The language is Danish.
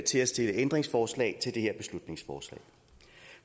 til at stille ændringsforslag til det her beslutningsforslag